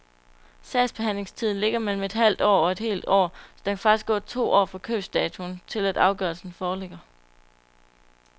Sagsbehandlingstiden ligger mellem et halvt og et helt år, så der kan faktisk gå to år fra købsdatoen til, at afgørelsen forligger.